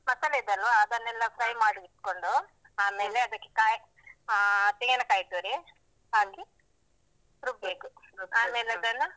ಮಸಾಲೆ ಇದೆ ಅಲ್ವ ಅದನ್ನೆಲ್ಲಾ fry ಮಾಡಿಟ್ಕೊಂಡು ಆಮೇಲೆ ಅದಕ್ಕೆ ಕಾಯಿ ಅಹ್ ತೆಂಗಿನ ಕಾಯಿ ತುರಿ ಹಾಕಿ ರುಬ್ಬೇಕು. ಆಮೇಲೆ ಅದನ್ನ.